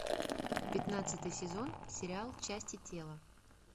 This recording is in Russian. пятнадцатый сезон сериал части тела